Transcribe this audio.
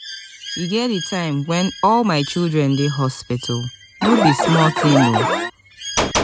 e get di time wen all my children dey hospital no be small tin o.